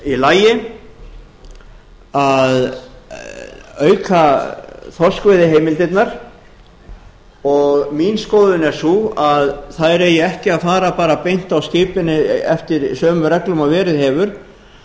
í lagi að auka þorskveiðiheimildirnar og mín skoðun er sú að þær eigi ekki að fara bara beint á skipin eftir sömu reglum og verið hefur